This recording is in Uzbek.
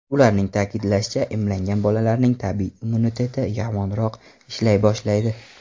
Ularning ta’kidlashicha, emlangan bolalarning tabiiy immuniteti yomonroq ishlay boshlaydi.